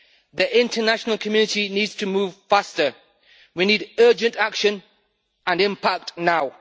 The international community needs to move faster. We need urgent action and impact now.